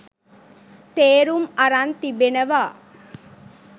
තේරුම් අරන් තිබෙනවා